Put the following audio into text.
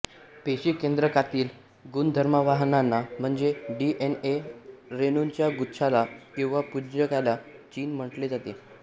पेशी केंद्रकातील गुणधर्मवाहकांना म्हणजे डीएनए रेणूंच्या गुच्छाला किंवा पुंजक्याला जीन म्हंटले जाते